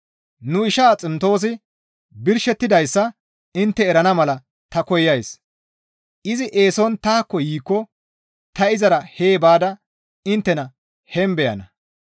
Nu ishaa Ximtoosi birshettidayssa intte erana mala ta koyays; izi eeson taakko yiikko ta izara hee baada inttena heen beyana.